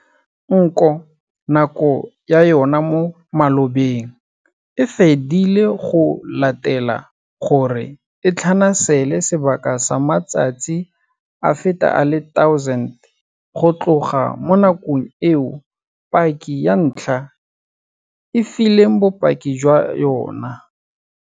Nko nako ya yona mo malobeng e fedile go latela gore e tlhanasele sebaka sa matsatsi a feta a le 1 000 go tloga mo nakong eo paki ya ntlha e fileng bopaki jwa yona.